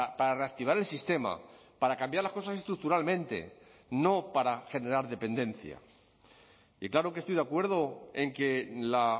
para reactivar el sistema para cambiar las cosas estructuralmente no para generar dependencia y claro que estoy de acuerdo en que la